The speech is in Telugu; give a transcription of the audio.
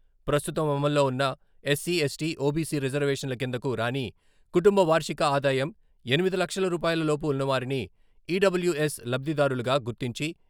ప్రస్తుతం అమల్లో ఉన్న ఎస్సీ, ఎస్టీ, ఓబీసీ రిజర్వేషన్ల కిందకు రాని, కుటుంబ వార్షిక ఆదాయం ఎనిమిది లక్షల రూపాయల లోపు ఉన్నవారిని ఈడబ్ల్యుఎస్ లబ్ధిదారులుగా గుర్తించి.